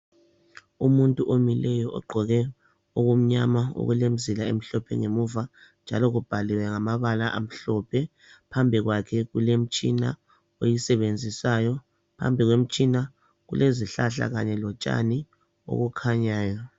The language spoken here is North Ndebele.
Umuntu omileyo ogqoke okumnyama okulemizila emhlophe ngemuva njalo kubhaliwe ngamabala amhlophe phambi kwakhe kulemitshina oyisebenzisayo phambi kwemitshina kulezihlahla kanye lotshani okukhanyayo.